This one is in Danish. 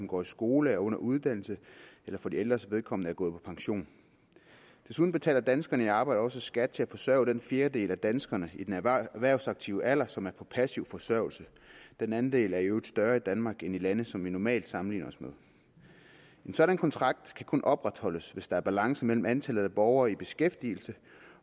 går i skole er under uddannelse eller for de ældres vedkommende er gået på pension desuden betaler danskere i arbejde også skat til at forsørge den fjerdedel af danskerne i den erhvervsaktive alder som er på passiv forsørgelse den andel er i øvrigt større i danmark end i lande som vi normalt sammenligner os med en sådan kontrakt kan kun opretholdes hvis der er balance mellem antallet af borgere i beskæftigelse